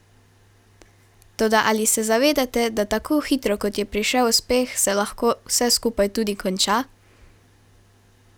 Toda ali se zavedate, da tako hitro, kot je prišel uspeh, se lahko vse skupaj tudi konča?